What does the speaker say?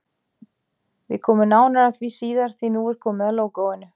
Við komum nánar að því síðar, því nú er komið að lógóinu.